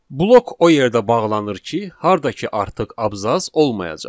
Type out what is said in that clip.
Blok o yerdə bağlanır ki, harda ki artıq abzas olmayacaq.